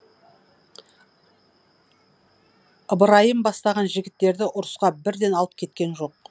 ыбырайым бастаған жігіттерді ұрысқа бірден алып кеткен жоқ